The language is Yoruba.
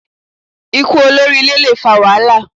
Ikú olórí ilé le fa wàhálà